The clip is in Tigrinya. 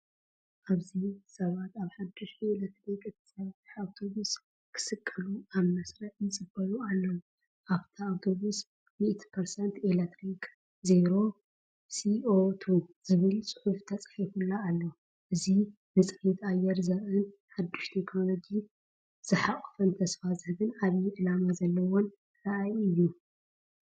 ኣብዚ፡ ሰባት ኣብ ሓዳሽ ብኤሌክትሪክ እትሰርሕ ኣውቶቡስ ክስቀሉ ኣብ መስርዕ ይጽበዩ ኣለዉ። ኣብታ ኣውቶቡስ “100% ኤሌክትሪክ፣ ዜሮ CO2” ዝብል ጽሑፍ ተጻሒፉላ ኣሎ። እዚ ንጽሬት ኣየር ዘርኢን ሓድሽ ቴክኖሎጂ ዝሓቖፈን ተስፋ ዝህብን ዓቢይ ዕላማ ዘለዎን ራእይ እዩ።